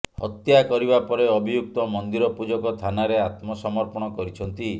ହତ୍ୟା କରିବା ପରେ ଅଭିଯୁକ୍ତ ମନ୍ଦିର ପୂଜକ ଥାନାରେ ଆତ୍ମସମର୍ପଣ କରିଛନ୍ତି